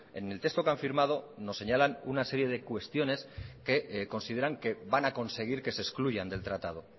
en el texto que han firmado nos señalan una serie de cuestiones que consideran que van a conseguir que se excluyan del tratado